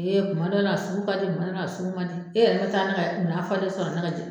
kuma dɔ la a sugu ka di kuma dɔ la a sugu man di e yɛrɛ tɛ taa ne ka minan falen sɔrɔ